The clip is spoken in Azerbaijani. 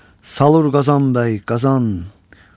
Salur Qazan bəy Qazan.